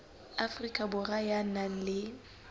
afrika borwa ya nang le